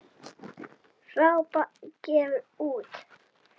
Drápa gefur út.